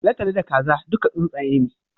Talatalo da Kaza duka tsuntsaye ne